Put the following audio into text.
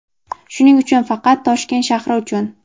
Shuning uchun faqat Toshkent shahri uchun.